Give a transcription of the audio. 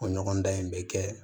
O ɲɔgɔndan in bɛ kɛ